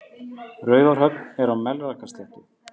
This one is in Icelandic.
Raufarhöfn er á Melrakkasléttu.